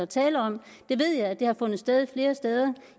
tale om det ved jeg har fundet sted succes flere steder